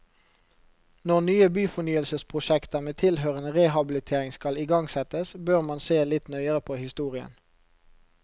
Når nye byfornyelsesprosjekter med tilhørende rehabilitering skal igangsettes, bør man se litt nøyere på historien.